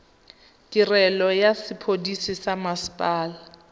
tirelo ya sepodisi sa mmasepala